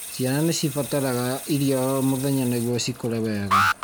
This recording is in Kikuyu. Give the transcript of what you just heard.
Ciana nĩ cibataraga iria o mũthenya nĩguo cikũre wega.